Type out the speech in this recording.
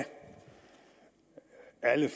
alle